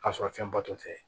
K'a sɔrɔ fɛn ba dɔ tɛ